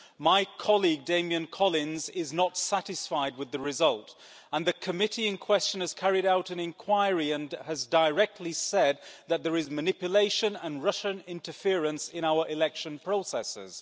My colleague Damian Collins is not satisfied with the result, and the committee in question has carried out an inquiry and has directly said that there is manipulation and Russian interference in our election processes.